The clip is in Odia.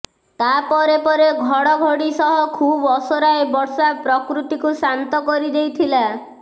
ତା ପରେ ପରେ ଘଡ଼ ଘଡ଼ି ସହ ଖୁବ୍ ଅସରାଏ ବର୍ଷା ପ୍ରକୃତିକୁ ଶାନ୍ତ କରିଦେଇଥିଲା